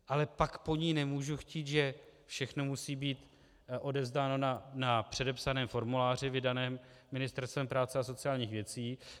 Ale pak po ní nemůžu chtít, že všechno musí být odevzdáno na předepsaném formuláři vydaném Ministerstvem práce a sociálních věcí.